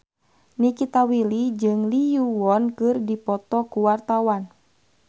Nikita Willy jeung Lee Yo Won keur dipoto ku wartawan